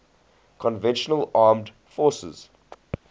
conventional armed forces